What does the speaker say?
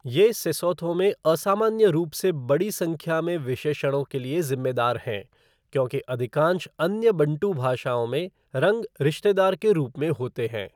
ये सेसोथो में असामान्य रूप से बड़ी संख्या में विशेषणों के लिए ज़िम्मेदार हैं, क्योंकि अधिकांश अन्य बँटू भाषाओं में रंग रिश्तेदार के रूप में होते हैं।